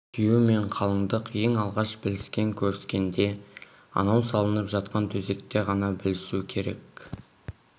күйеу мен қалыңдық ең алғаш біліскен көріскенде анау салынып жатқан төсекте ғана білісу керек